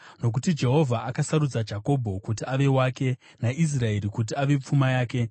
Nokuti Jehovha akasarudza Jakobho kuti ave wake, naIsraeri kuti ave pfuma yake.